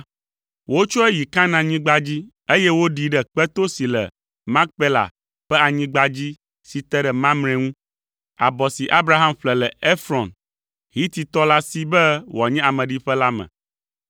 Wotsɔe yi Kanaanyigba dzi, eye woɖii ɖe kpeto si le Makpela ƒe anyigba dzi si te ɖe Mamre ŋu, abɔ si Abraham ƒle le Efrɔn, Hititɔ la si be wòanye ameɖiƒe la me.